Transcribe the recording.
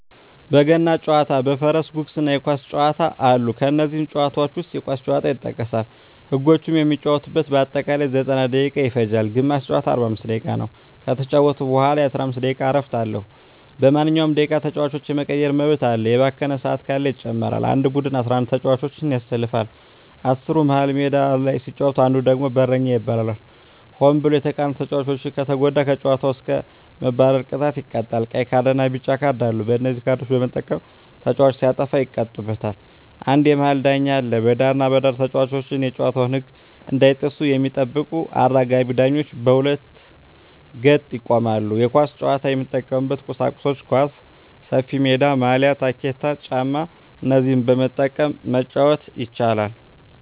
በገና ጨዋታ በፈረስ ጉግስ እና የኳስ ጨዋታ አሉ ከነዚህም ጨዋታዎች ዉስጥ የኳስ ጨዋታ ይጠቀሳል ህጎችም የሚጫወቱበት በአጠቃላይ 90ደቂቃ ይፈጃል ግማሽ ጨዋታ 45 ደቂቃ ነዉ ከተጫወቱ በኋላ የ15 ደቂቃ እረፍት አለዉ በማንኛዉም ደቂቃ ተጫዋች የመቀየር መብት አለ የባከነ ሰአት ካለ ይጨመራል አንድ ቡድን 11ተጫዋቾችን ያሰልፋል አስሩ መሀል ሜዳ ሲጫወት አንዱ ደግሞ በረኛ ይባላል ሆን ብሎ የተቃራኒተጫዋቾችን ከተጎዳ ከጨዋታዉ እስከ መባረር ቅጣት ይቀጣሉ ቀይ ካርድና ቢጫ ካርድ አሉ በነዚህ ካርዶች በመጠቀም ተጫዋቾች ሲያጠፉ ይቀጡበታል አንድ የመሀል ዳኛ አለ በዳርና በዳር ተጫዋቾች የጨዋታዉን ህግ እንዳይጥሱ የሚጠብቁ አራጋቢ ዳኞች በሁለት ገጥ ይቆማሉ የኳስ ጫዋች የሚጠቀሙበት ቁሳቁሶች ኳስ፣ ሰፊሜዳ፣ ማልያ፣ ታኬታ ጫማ እነዚህን በመጠቀም መጫወት ይቻላል